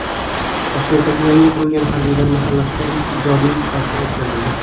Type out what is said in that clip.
Toshkentdagi yangi qurilgan harbiylar mahallasida ilk ijodiy uchrashuv o‘tkazildi.